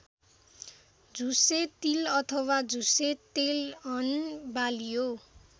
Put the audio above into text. झुसे तिल अथवा झुसे तेलहन बाली हो।